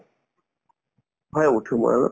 হয়, উঠো মই অলপ